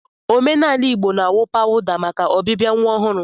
n'omenaala Igbo, a na-awụ pawụda maka ọbịbịa nwa ọhụrụ.